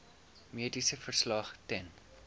mediese verslag ten